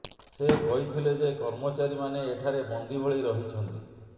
ସେ କହିଥିଲେ ଯେ କର୍ମଚାରୀମାନେ ଏଠାରେ ବନ୍ଦୀ ଭଳି ରହିଛନ୍ତି